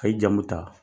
A' ye jamu ta